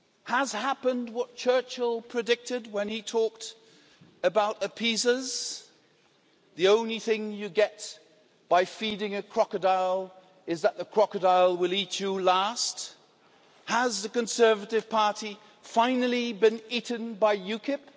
Has what Churchill predicted when he talked about appeasers happened the only thing you get by feeding a crocodile is that the crocodile will eat you last? Has the Conservative Party finally been eaten by UKIP?